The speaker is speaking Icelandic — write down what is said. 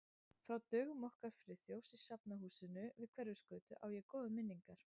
Frá dögum okkar Friðþjófs í Safnahúsinu við Hverfisgötu á ég góðar minningar.